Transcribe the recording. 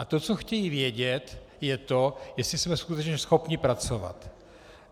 A to, co chtějí vědět, je to, jestli jsme skutečně schopni pracovat.